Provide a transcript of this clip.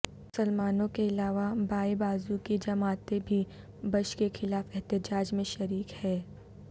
مسلمانوں کے علاوہ بائیں بازو کی جماعتیں بھی بش کے خلاف احتجاج میں شریک ہیں